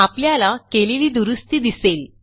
आपल्याला केलेली दुरूस्ती दिसेल